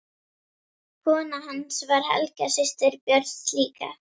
Kona hans var Helga, systir Björns ríka.